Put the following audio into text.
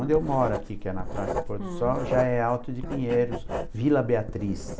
Onde eu moro aqui, que é na Praça Porto Sol, já é Alto de Pinheiros, Vila Beatriz.